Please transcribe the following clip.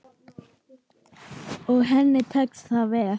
Og henni tekst það vel.